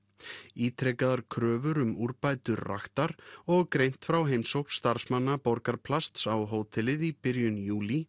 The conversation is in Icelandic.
ítrekaðar kröfur um úrbætur raktar og greint frá heimsókn starfsmanna Borgarplasts á hótelið í byrjun júlí